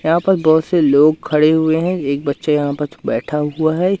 यहां पर बहुत से लोग खडे हुए हैं एक बच्चा यहां पर बैठा हुआ है।